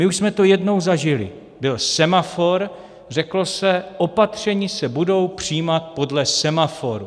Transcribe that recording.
My už jsme to jednou zažili, byl semafor, řeklo se, opatření se budou přijímat podle semaforu.